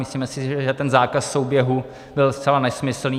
Myslíme si, že ten zákaz souběhu byl zcela nesmyslný.